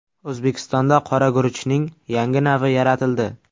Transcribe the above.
O‘zbekistonda qora guruchning yangi navi yaratildi.